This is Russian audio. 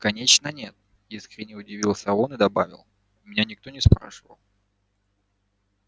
конечно нет искренне удивился он и добавил меня никто не спрашивал